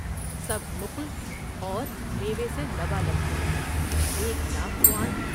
سب نقل اور میوے سے لبالب بھرے ، ایک لاکھ خوان ۔